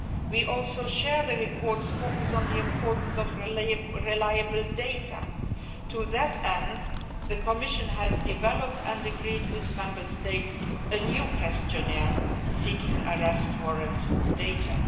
efforts. We also share the report's focus on the importance of reliable data. To that end the Commission has developed and agreed with Member States a new questionnaire seeking European Arrest Warrant